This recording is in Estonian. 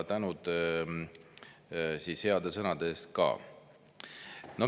Tänud heade sõnade eest ka!